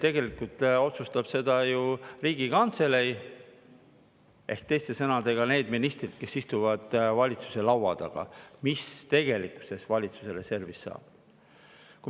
Tegelikult otsustab ju Riigikantselei – ehk teiste sõnadega need ministrid, kes istuvad valitsuse laua taga – seda, mis tegelikkuses valitsuse reservist saab.